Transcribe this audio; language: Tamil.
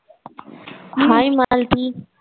Hai மாலதி.